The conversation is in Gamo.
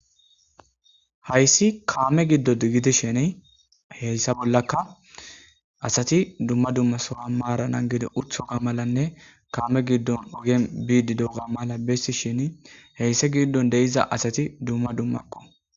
Hayssi kamme gidodi giddishin heyssa bolankka asati duma duma sohoon maran nangidi uttiyoga malanne kamme giddon oggen bidi diyoganne mala bessishine heysi giddon bidi de' iza asati duma dummakko.